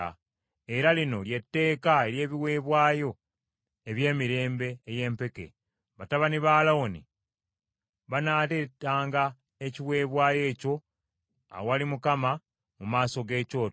“Era lino ly’etteeka ery’ebiweebwayo eby’emmere ey’empeke. Batabani ba Alooni banaaleetanga ekiweebwayo ekyo awali Mukama mu maaso g’ekyoto.